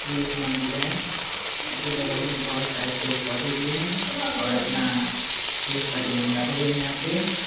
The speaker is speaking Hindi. ये एक मंदिर है इसमें बगल में बहुत सारे पेड़-पौधे भी है और अपना देश का तिरंगा भी है यहाँ पे ।